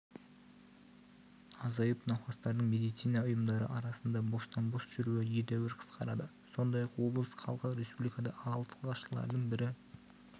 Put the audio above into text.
азайып науқастардың медицина ұйымдары арасында бостан-бос жүруі едәуір қысқарады сондай-ақ облыс халқы республикада алғашқылардың бірі